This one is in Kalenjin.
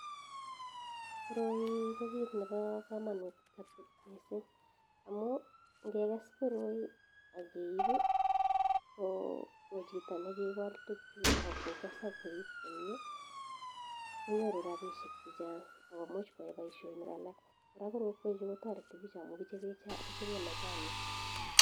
Koroii koo kiit nepo kamanut missing amuu ngekes koroi akeib koo chitoo nee kikol tukchuu akokes akoip komie konyoruu rapishiek chee chang akomuch kwaee paishonik alak araa korokwek chuu kotareti pich amuu kichopee majanik